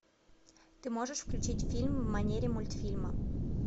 ты можешь включить фильм в манере мультфильма